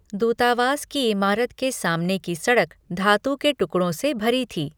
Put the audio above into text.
दूतावास की इमारत के सामने की सड़क धातु के टुकड़ों से भरी थी।